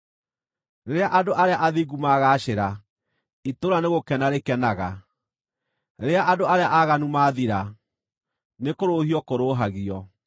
Rĩrĩa andũ arĩa athingu magaacĩra, itũũra nĩgũkena rĩkenaga; rĩrĩa andũ arĩa aaganu maathira, nĩkũrũhio kũrũũhagio.